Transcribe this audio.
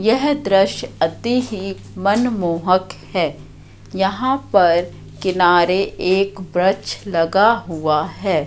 यह दृश्य अति ही मनमोहक है यहां पर किनारे एक वृक्ष लगा हुआ है।